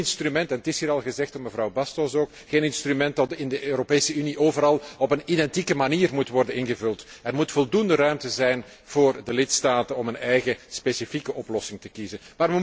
Geen instrument het is ook al gezegd door mevrouw Bastos dat in de Europese Unie overal op een identieke manier moet worden ingevuld. Er moet voldoende ruimte zijn voor de lidstaten om een eigen specifieke oplossing te kiezen.